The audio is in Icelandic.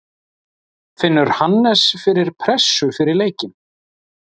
Finnur Hannes fyrir pressu fyrir leikinn?